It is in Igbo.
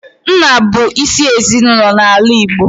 Nna bụ isi ezinaụlọ n'ala Igbo.